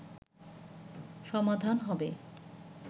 সমাধান হবে”